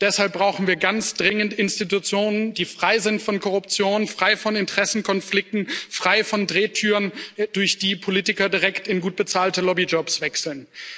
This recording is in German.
Deshalb brauchen wir ganz dringend Institutionen, die frei sind von Korruption, frei von Interessenkonflikten, frei von Drehtüren, durch die Politiker direkt in gut bezahlte Lobbyjobs wechseln.